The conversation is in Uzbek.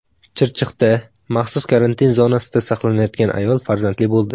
Chirchiqda maxsus karantin zonasida saqlanayotgan ayol farzandli bo‘ldi .